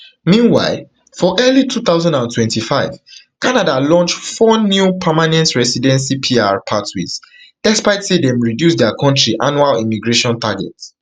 meanwhile for early two thousand and twenty-five canada launch four new permanent residency pr pathways despite say dem reduce dia kontri annual immigration targets